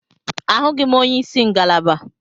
Ahụghị m onye isi ngalaba.